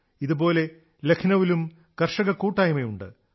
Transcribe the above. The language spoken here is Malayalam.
ഇതേപോലെ ലഖ്നൌവിലും കർഷകക്കൂട്ടായ്മയുണ്ട്